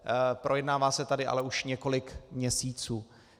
Projednává se tady ale už několik měsíců.